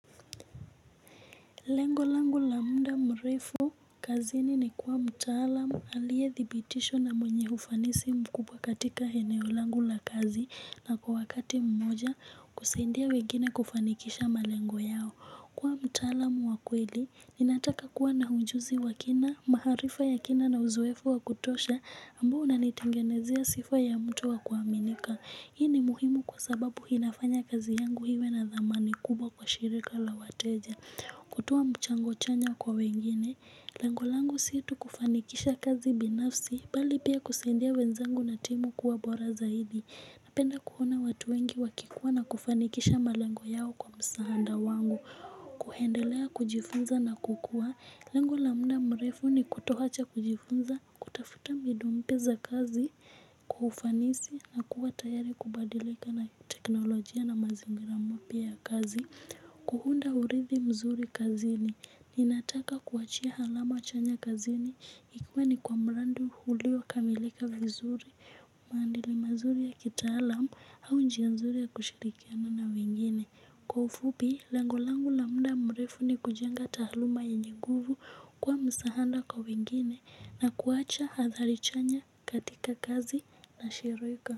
Lengo langu la muda mrefu kazini ni kuwa mtaalam aliyedhibitishwa na mwenye ufanisi mkubwa katika eneo langu la kazi na kwa wakati mmoja kusaidia wengine kufanikisha malengo yao. Kuwa mtalamu wa kweli, ninataka kuwa na ujuzi wa kina, maarifa ya kina na uzoefu wa kutosha ambao unanitengenezea sifa ya mtu wa kuaminika. Hii ni muhimu kwa sababu inafanya kazi yangu iwe na dhamani kubwa kwa shirika la wateja. Kutoa mchango chanya kwa wengine, lengo langu si eti kufanikisha kazi binafsi, bali pia kusaidia wenzangu na timu kuwa bora zaidi. Napenda kuona watu wengi wakikua na kufanikisha malengo yao kwa msaada wangu, kuendelea kujifunza na kukua. Lango la muda mrefu ni kutoacha kujifunza, kutafuta mbinu mpya za kazi kwa ufanisi na kuwa tayari kubadilika na teknolojia na mazingira mpya ya kazi. Kuunda urithi mzuri kazini ninataka kuachia alama chanya kazini ikikuwa ni kwa mradi uliokamilika vizuri. Maandili mazuri ya kitaalam au njia nzuri ya kushirikiana na wengine. Kwa ufupi lengo langu la muda mrefu ni kujenga taaluma yenye nguvu kuwa msaada kwa wengine na kuacha athari chanya katika kazi na shirika. Kwa hivyo.